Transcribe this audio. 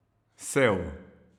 Sev.